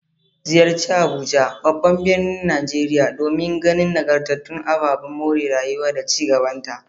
Ziyarci Abuja, babban birnin Najeriya, domin ganin nagartattun ababen more rayuwa da ci gabanta.